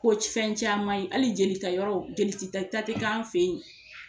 Ko fɛn caman ye hali jeli ta yɔrɔw jeli ta k'an fɛ ye.